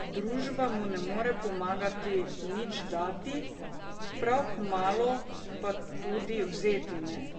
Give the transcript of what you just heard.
Družba mu ne more popolnoma nič dati, prav kmalu pa tudi vzeti ne.